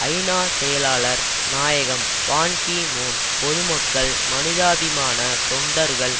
ஐநா செயலாளர் நாயகம் பான் கி மூன் பொதுமக்கள் மனிதாபிமான தொண்டர்கள்